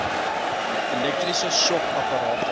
elektriese shock apparate